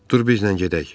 Dur bizlə gedək.